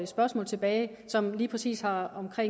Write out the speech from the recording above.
spørgsmål tilbage som lige præcis har